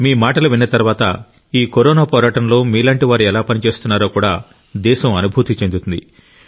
మీ మాటలు విన్న తర్వాత ఈ కరోనా పోరాటంలో మీలాంటి వారు ఎలా పని చేస్తున్నారో కూడా దేశం అనుభూతి చెందుతుంది